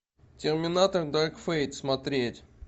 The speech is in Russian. терминатор дарк фейт смотреть